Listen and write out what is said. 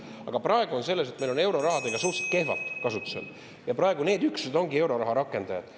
Aga praegu on asi selles, et meil on euroraha suhteliselt kehvalt kasutusel ja praegu need üksused ongi euroraha rakendajad.